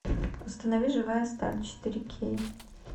установи живая сталь четыре кей